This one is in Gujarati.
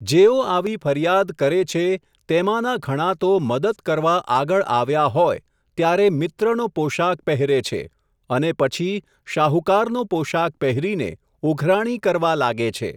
જેઓ આવી ફરિયાદ કરે છે, તેમાંના ઘણા તો મદદ કરવા આગળ આવ્યા હોય, ત્યારે મિત્રનો પોશાક પહેરે છે, અને પછી શાહુકારનો પોશાક પહેરીને, ઉઘરાણી કરવા લાગે છે.